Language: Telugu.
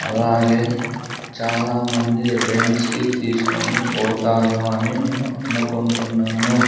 అలాగే చాలామంది రెంట్స్ కి తీసుకొని పోతారు అని నేను అనుకుంటున్నాను.